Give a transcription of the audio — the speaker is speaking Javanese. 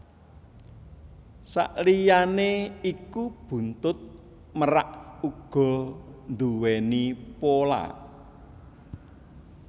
Saliyané iku buntut merak uga nduwèni pola